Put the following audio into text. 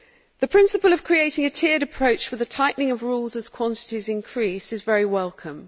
The principle of creating a tiered approach for the tightening of rules as quantities increase is very welcome.